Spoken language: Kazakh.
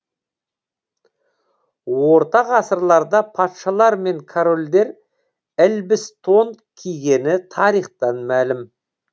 орта ғасырларда патшалар мен корольдер ілбіс тон кигені тарихтан мәлім